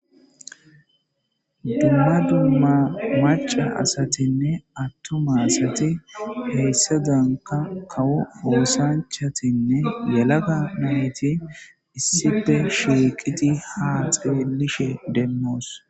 Duma duma atuma asatine maca asati hayisadanika kawo osanchatinee yalaga nayiti issi bolla issipe shiqidi ha xelishe de'osona